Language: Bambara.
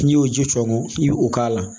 N'i y'o ji tɔmɔ i bɛ o k'a la